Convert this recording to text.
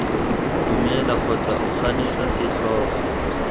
dumela kgotsa o ganetse setlhogo